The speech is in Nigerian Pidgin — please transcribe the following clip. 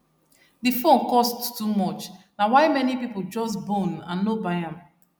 the phone cost too much na why many people just bone and no buy am